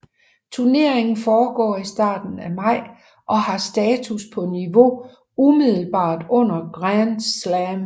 Turneringen foregår i starten af maj og har status på niveauet umiddelbart under Grand Slam